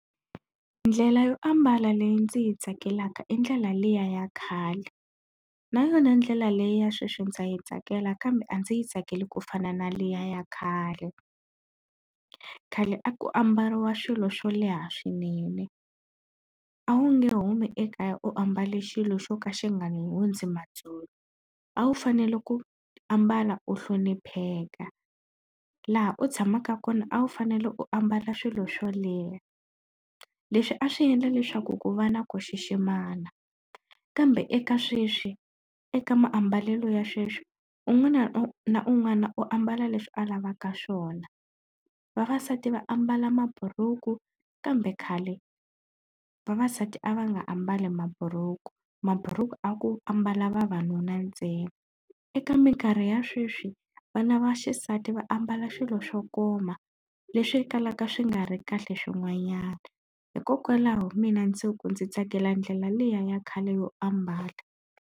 Ndlela yo ambala leyi ndzi yi tsakelaka i ndlela liya ya khale na yona ndlela leyi ya sweswi ndza yi tsakela kambe a ndzi yi tsakeli ku fana na liya ya khale. Khale a ku ambariwa swilo swo leha swinene a wu nge humi ekaya u ambale xilo xo ka xi nga hundzi matsolo. A wu fanele ku ambala u hlonipheka laha u tshamaka kona a wu fanele u ambala swilo swo leha leswi a swi endla leswaku ku va na ku xiximana kambe eka sweswi eka maambalelo ya sweswi un'wana na un'wana u ambala leswi a lavaka swona. Vavasati va ambala maburuku kambe khale vavasati a va nga ambali maburuku mabhuruku a ku ambala vavanuna ntsena. Eka minkarhi ya sweswi vana va xisati va ambala swilo swo koma leswi kalaka swi nga ri kahle swin'wanyana. Hikokwalaho mina ndzi ku ndzi tsakela ndlela liya ya khale yo ambala.